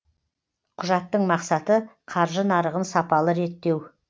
құжаттың мақсаты қаржы нарығын сапалы реттеу